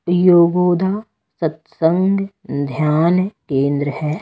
योगोदा सत्संग ध्यान केंद्र है।